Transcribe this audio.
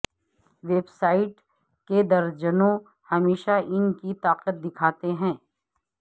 web sites کے درجنوں ہمیشہ ان کی طاقت دکھاتے ہیں